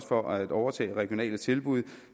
for at overtage regionale tilbud